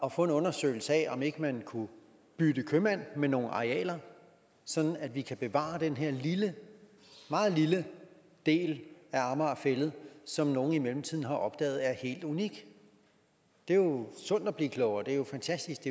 at få en undersøgelse af om ikke man kunne bytte købmand med nogle arealer sådan at vi kan bevare den her lille meget lille del af amager fælled som nogle i mellemtiden har opdaget er helt unik det er jo sundt at blive klogere det er jo fantastisk